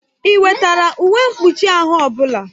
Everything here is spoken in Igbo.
Ị wetara uwe mkpụchi ahụ ọbụla?